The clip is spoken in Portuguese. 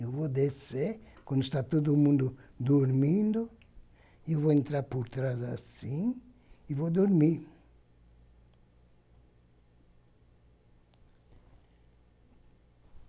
Eu vou descer, quando está todo mundo dormindo, eu vou entrar por trás, assim, e vou dormir.